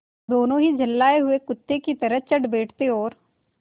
दोनों ही झल्लाये हुए कुत्ते की तरह चढ़ बैठते और